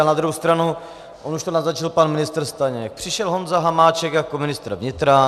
Ale na druhou stranu, on už to naznačil pan ministr Staněk, přišel Honza Hamáček jako ministr vnitra.